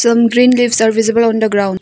Some green leaves are visible on the ground.